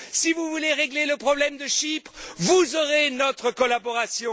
Si vous voulez régler le problème de Chypre, vous aurez notre collaboration.